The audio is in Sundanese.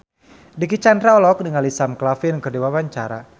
Dicky Chandra olohok ningali Sam Claflin keur diwawancara